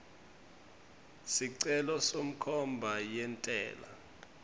sicelo senkhomba yentsela